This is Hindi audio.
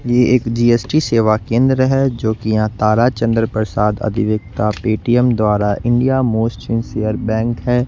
ये एक जी_एस_टी सेवा केंद्र है जो कि यहां ताराचंद्र प्रसाद अधिवक्ता पेटीएम द्वारा इंडिया मोस्ट सिंसियर बैंक है।